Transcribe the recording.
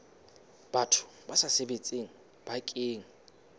batho ba sa sebetseng bakeng